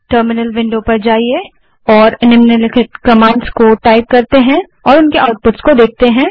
terminal window पर जाएँ और कमांड्स टाइप करें और उनके आउटपुट्स देखें